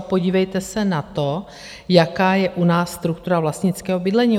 A podívejte se na to, jaká je u nás struktura vlastnického bydlení.